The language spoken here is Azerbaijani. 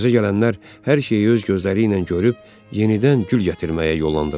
Təzə gələnlər hər şeyi öz gözləri ilə görüb yenidən gül gətirməyə yollandılar.